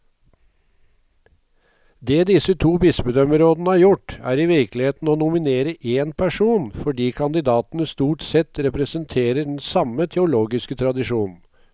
Det disse to bispedømmerådene har gjort, er i virkeligheten å nominere én person, fordi kandidatene stort sett representerer den samme teologiske tradisjon.